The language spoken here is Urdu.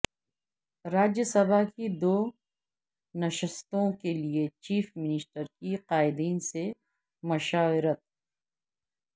راجیہ سبھا کی دو نشستوں کیلئے چیف منسٹر کی قائدین سے مشاورت